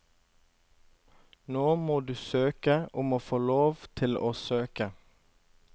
Nå må du søke om å få lov til å søke.